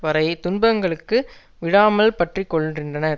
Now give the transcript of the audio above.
வரை துன்பங்களுக்கு விடாமல் பற்றிக்கொள்ன்றின்றன